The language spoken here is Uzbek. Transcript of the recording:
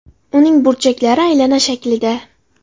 Uning burchaklari aylana shaklida.